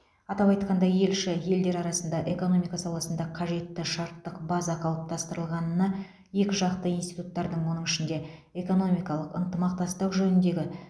атап айтқанда елші елдер арасында экономика саласында қажетті шарттық база қалыптастырылғанына екіжақты институттардың оның ішінде экономикалық ынтымақтастық жөніндегі